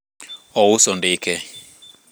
ouso ndike